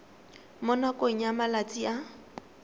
mo nakong ya malatsi a